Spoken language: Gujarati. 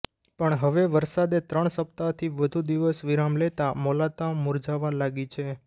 પણ હવે વરસાદે ત્રણ સપ્તાહથી વધુ દિવસ વિરામ લેતા મોલાતો મુરઝાવા લાગી છે